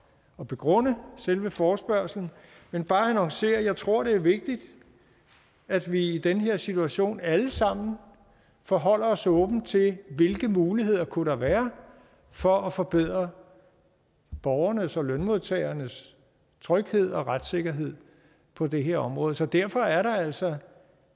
at begrunde selve forespørgslen men bare annoncere at jeg tror det er vigtigt at vi i den her situation alle sammen forholder os åbent til hvilke muligheder der kunne være for at forbedre borgernes og lønmodtagernes tryghed og retssikkerhed på det her område så derfor er der altså